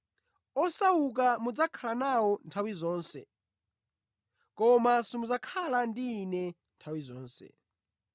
Osauka mudzakhala nawo nthawi zonse, koma simudzakhala ndi Ine nthawi zonse.